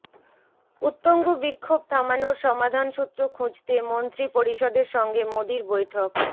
উত্তঙ্গু বিক্ষোভ থামানোর সমাধানসূত্র খুঁজতে মন্ত্রিপরিষদের সঙ্গে মোদির বৈঠক